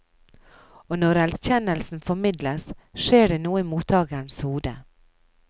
Og når erkjennelsen formidles, skjer det noe i mottagerens hode.